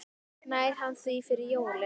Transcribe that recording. Nær hann því fyrir jólin?